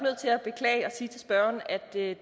nødt